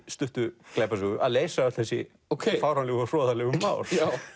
stuttu glæpasögu að leysa öll þessi fáránlegu og hroðalegu mál